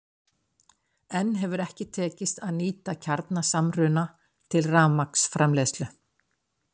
enn hefur ekki tekist að nýta kjarnasamruna til rafmagnsframleiðslu